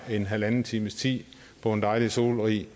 her halvanden times tid på en dejlig solrig